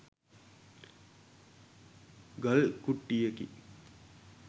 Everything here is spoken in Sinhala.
ගල් කුට්ටියකි.